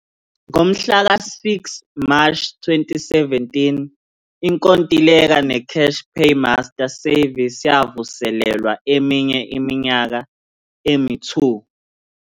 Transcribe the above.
Ngomhla ka-6 Mashi 2017, inkontileka neCash Paymaster Services yavuselelwa eminye iminyaka emi-2.